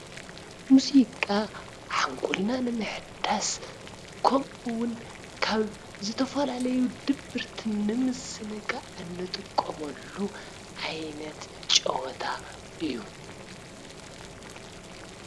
ሙዚቃ ሓንጎልና ንምሕዳስ ከሙኡ አዉን ካብ ዝተፈላለዩ ድብርት ንምዝንጋዕ አንጥቀመሉ ዓይነት ጨወታ አዩ።